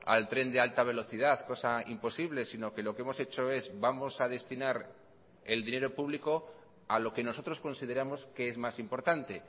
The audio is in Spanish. al tren de alta velocidad cosa imposible sino que lo que hemos hecho es vamos a destinar el dinero público a lo que nosotros consideramos que es más importante